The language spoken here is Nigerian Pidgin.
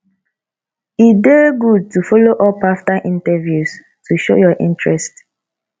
e dey good to follow up after interviews to show your interest